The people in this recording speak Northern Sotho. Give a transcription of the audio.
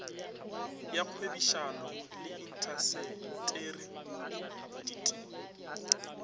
ya kgwebišano le intaseteri dti